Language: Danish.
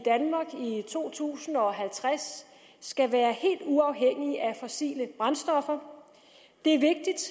to tusind og halvtreds skal være helt uafhængige af fossile brændstoffer det